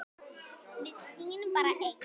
Við sýnum bara ein